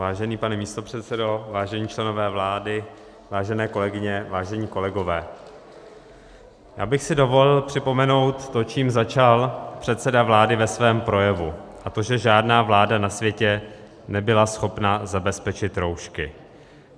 Vážený pane místopředsedo, vážení členové vlády, vážené kolegyně, vážení kolegové, já bych si dovolil připomenout to, čím začal předseda vlády ve svém projevu, a to že žádná vláda na světě nebyla schopna zabezpečit roušky.